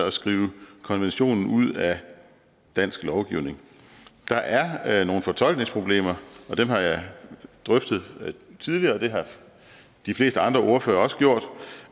at skrive konventionen ud af dansk lovgivning der er nogle fortolkningsproblemer og dem har jeg drøftet tidligere og det har de fleste andre ordførere også gjort